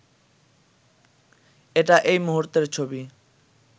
এটা এই মুহূর্তের ছবি